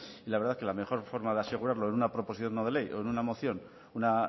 y la verdad que la mejor forma de asegurarlo en una proposición no de ley o en una moción una